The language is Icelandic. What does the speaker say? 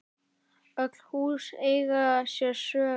Öll hús eiga sér sögu.